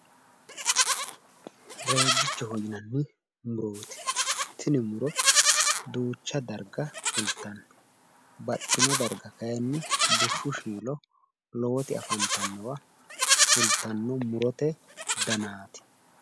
Reejjichoho yinanni murooti tini mu'ro duucha darga fultanno baxxino darga kaayiinni bushshu shiilo lowoti afantannowa fultanno murote danaati.